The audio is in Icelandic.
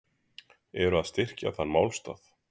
Eru að styrkja þann málstað.